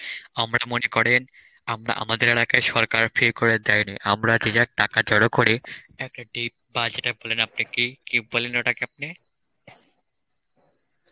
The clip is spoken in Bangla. আমরা মনে করেন আমরা আমাদের এলাকায় সরকার free করে দেয়নি, আমরা যে যার টাকা জড়ো করে এক একটি পাঁচ লিটার বলেন আপনি একটি কি বলেন ওটাকে আপনি?